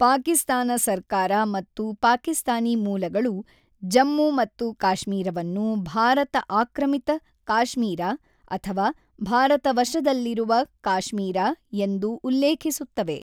ಪಾಕಿಸ್ತಾನ ಸರ್ಕಾರ ಮತ್ತು ಪಾಕಿಸ್ತಾನಿ ಮೂಲಗಳು ಜಮ್ಮು ಮತ್ತು ಕಾಶ್ಮೀರವನ್ನು ಭಾರತ-ಆಕ್ರಮಿತ ಕಾಶ್ಮೀರ ಅಥವಾ ಭಾರತ-ವಶದಲ್ಲಿರುವ ಕಾಶ್ಮೀರ ಎಂದು ಉಲ್ಲೇಖಿಸುತ್ತವೆ.